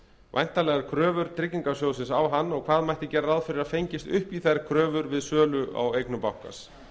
væntanlegar kröfur tryggingarsjóðsins á hann og hvað mætti gera ráð fyrir að fengist upp í þær kröfur við sölu á eignum bankans